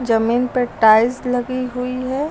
जमीन पर टाइल्स लगी हुई है।